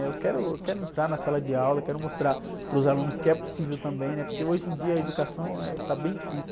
Eh, eu quero, eu quero entrar na sala de aula, quero mostrar para os alunos que é possível também, né? Porque hoje em dia a educação, eh, está bem difícil.